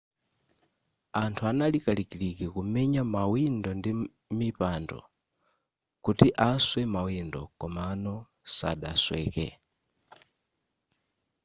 anthu anali kalikiliki kumenya mawindo ndi mipando kuti aswe mawindo komano sadasweke